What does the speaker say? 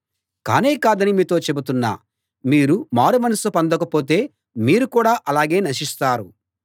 కానే కాదని మీతో చెబుతున్నా మీరు మారుమనస్సు పొందకపోతే మీరు కూడా అలాగే నశిస్తారు